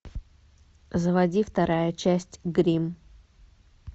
заводи вторая часть гримм